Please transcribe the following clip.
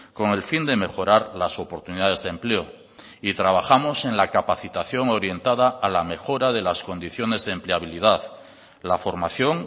con el fin de mejorar las oportunidades de empleo y trabajamos en la capacitación orientada a la mejora de las condiciones de empleabilidad la formación